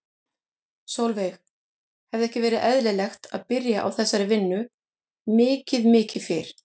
Sólveig: Hefði ekki verið eðlilegt að byrja á þessari vinnu mikið mikið fyrr?